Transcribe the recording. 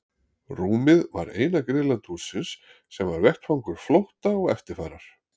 Rúmið var eina griðland hússins sem var vettvangur flótta og eftirfarar.